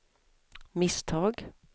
misstag